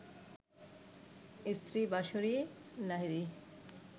স্ত্রী বাঁশরী লাহিড়ী